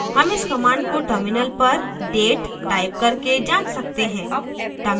हम इस command को terminal पर date टाइप करके जाँच सकते हैं